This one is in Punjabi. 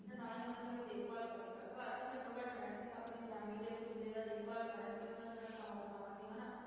ਤੇ ਨਾ ਹੀ ਉਹਨਾਂ ਦੀ ਕੋਈ ਦੇਖਭਾਲ ਕਰੇਗਾ, ਘਰ 'ਚ ਘੱਟੋ ਘੱਟ ਰਹਿਣਗੇ, ਆਪਣੇ family ਦੇ ਇੱਕ ਦੂਜੇ ਦਾ ਦੇਖਭਾਲ ਕਰਨਗੇ, ਉਹਨਾਂ ਦੇ ਨਾਲ ਸਮਾਂ ਬਿਤਾਉਣਗੇ ਹਨਾ।